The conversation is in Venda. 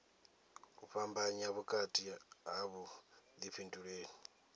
u fhambanya vhukati ha vhuḓifhinduleli